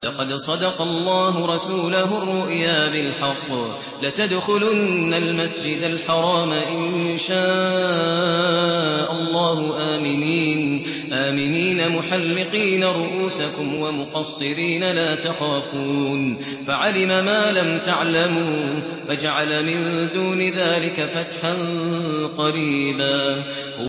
لَّقَدْ صَدَقَ اللَّهُ رَسُولَهُ الرُّؤْيَا بِالْحَقِّ ۖ لَتَدْخُلُنَّ الْمَسْجِدَ الْحَرَامَ إِن شَاءَ اللَّهُ آمِنِينَ مُحَلِّقِينَ رُءُوسَكُمْ وَمُقَصِّرِينَ لَا تَخَافُونَ ۖ فَعَلِمَ مَا لَمْ تَعْلَمُوا فَجَعَلَ مِن دُونِ ذَٰلِكَ فَتْحًا قَرِيبًا